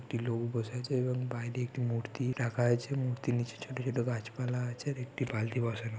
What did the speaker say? একটি লোক বসে আছে এবং বাইরে একটি মূর্তি রাখা আছে। মূর্তির নিচে ছোট ছোট গাছপালা আছে। একটি বালতি বসানো--